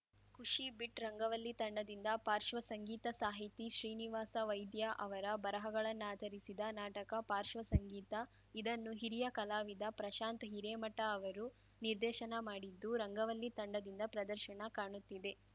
ಖುಷಿ ಬಿಟ್‌ ರಂಗವಲ್ಲಿ ತಂಡದಿಂದ ಪಾಶ್ರ್ವ ಸಂಗೀತ ಸಾಹಿತಿ ಶ್ರೀನಿವಾಸ ವೈದ್ಯ ಅವರ ಬರಹಗಳನ್ನಾಧರಿಸಿದ ನಾಟಕ ಪಾಶ್ರ್ವ ಸಂಗೀತ ಇದನ್ನು ಹಿರಿಯ ಕಲಾವಿದ ಪ್ರಶಾಂತ್‌ ಹಿರೇಮಠ ಅವರು ನಿರ್ದೇಶನ ಮಾಡಿದ್ದು ರಂಗವಲ್ಲಿ ತಂಡದಿಂದ ಪ್ರದರ್ಶನ ಕಾಣುತ್ತಿದೆ